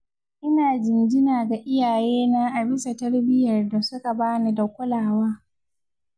ina jinjina ga iyayena a bisa tarbiyyar da suka bani da kulawa.